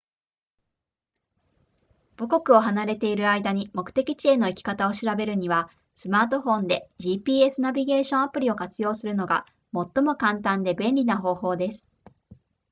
母国を離れている間に目的地への行き方を調べるにはスマートフォンで gps ナビゲーションアプリを活用するのが最も簡単で便利な方法です